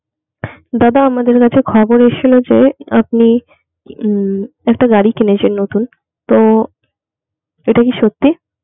দাদা আমাদের কাছে খবর এসেছিলো যে আপনি উম একটা গাড়ি কিনেছেন নতুন তো এটা কি সত্যি?